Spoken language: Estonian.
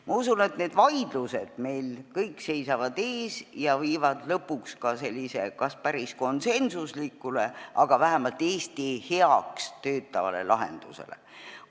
Ma usun, et need vaidlused seisavad meil kõik ees ja viivad lõpuks kas just päris konsensuslikule, aga vähemalt Eesti heaks töötavale lahendusele.